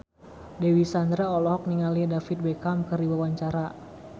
Dewi Sandra olohok ningali David Beckham keur diwawancara